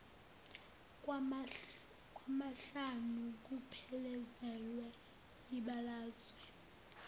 kwamahlanu kuphelezelwe yibalazwe